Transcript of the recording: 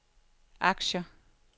aktier